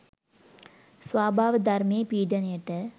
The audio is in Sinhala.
ස්වභාවධර්මයේ පීඩනයට